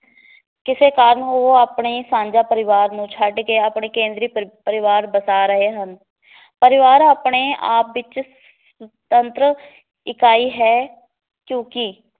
ਕਿਸੇ ਕਾਰਨ ਉਹ ਆਪਣੇ ਸਾਂਝਾਂ ਪਰਿਵਾਰ ਨੂੰ ਛੱਡ ਕੇ ਆਪਣੇ ਕੇਂਦਰੀ ਪਰਿ ਪਰਿਵਾਰ ਬਸਾ ਰਹੇ ਹਨ ਪਰਿਵਾਰ ਆਪਣੇ ਆਪ ਵਿਚ ਤੰਤਰ ਇਕਾਈ ਹੈ ਕਿਉਕਿ